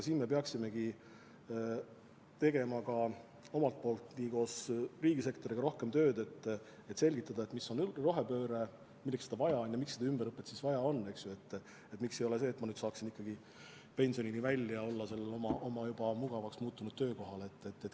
Siin me peaksimegi tegema ka omalt poolt rohkem tööd koos riigisektoriga, et selgitada, mis on rohepööre, milleks seda vaja on ja miks ümberõpet vaja on, miks ei ole võimalik, et ma saaksin pensionini välja venitada oma juba mugavaks muutunud töökohal.